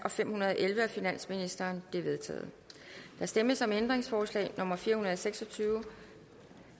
fem hundrede og elleve af finansministeren de er vedtaget der stemmes om ændringsforslag nummer fire hundrede og seks og tyve